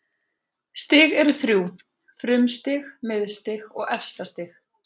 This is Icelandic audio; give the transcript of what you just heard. Stig eru þrjú: frumstig, miðstig og efstastig.